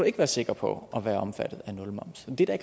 ikke være sikker på at være omfattet af nulmoms det er